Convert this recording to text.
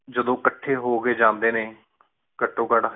ਜਾਦੁਨ ਅਖ੍ਟੀ ਹੂ ਕੀ ਜਾਂਦੀ ਕਾਤੁਨ ਕਤ